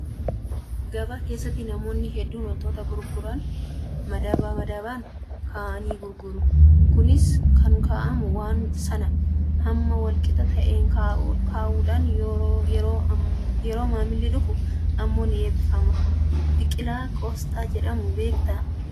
Gabaa keessatti namoonni hedduun wanta gurguran madaba madabaan kaa'anii gurguru. Kunis kan kaa'amu waan sana hamma wal qixa ta'e kaa'uudhaan yeroo maamilli dhufu immoo ni eebbifama. Biqilaa qooxsaa jedhamu beektaa?